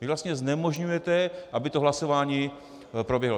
Vy vlastně znemožňujete, aby to hlasování proběhlo.